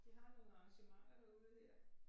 De har nogle arrangementer derude dér